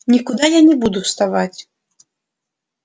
никуда я не буду вставать